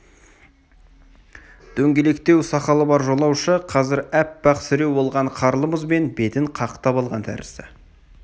дөңгелектеу сақалы бар жолаушы қазір аппақ сіреу болған қарлы мұзбен бетін қақтап алған тәрізді